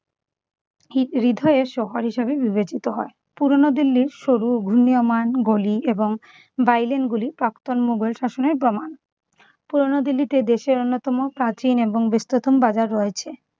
হৃ~ হৃদয়ের শহর বিবেচিত হয়। পুরনো দিল্লির সরু ঘূর্ণীয়মান গলি এবং bi-lane গুলি প্রাক্তন মোঘল শাসনের প্রমাণ। পুরনো দিল্লিতে দেশের অন্যতম প্রাচীন এবং বিস্তৃত বাজার রয়েছে।